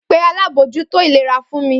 Pe alábòójútó ìlera fún mi!